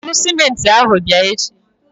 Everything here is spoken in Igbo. Buru sịmentị ahụ bịa echi!